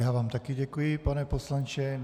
Já vám také děkuji, pane poslanče.